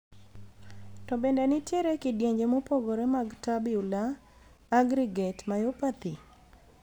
To bende nitiere kidienje mopogore mag tubular aggregate myopathy?